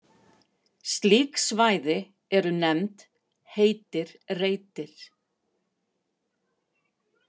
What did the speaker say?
Slík svæði eru nefnd heitir reitir.